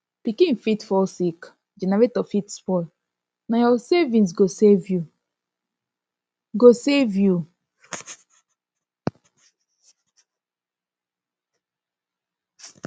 pikin fit fall sick generator fit spoil na your savings go save you go save you